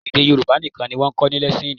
Èdè Yorùbá nìkan ni wọn ò kọ́ ní lẹ́síìnì